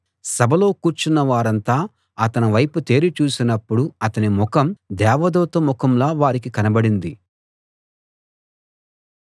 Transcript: సభలో కూర్చున్న వారంతా అతని వైపు తేరి చూసినపుడు అతని ముఖం దేవదూత ముఖంలా వారికి కనబడింది